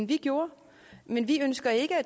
det jo